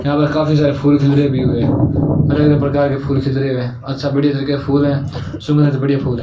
यहां पर काफी सारे फूल खिल रहे अभी अलग-अलग प्रकार के फूल खिल रहे हुए हैं और सब बढ़िया तरीके के फूल हैं सूंघने से बढ़िया फूल हैं।